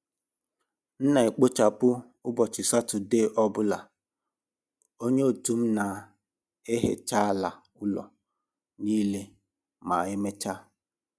M n'ekpochapụ ụbọchị Satọde ọ bụla, onye otu m n'ehecha ala ụlọ niile ma emechaa.